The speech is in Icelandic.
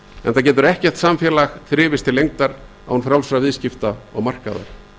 enda getur ekkert samfélag þrifist til lengdar án frjálsra viðskipta og markaðar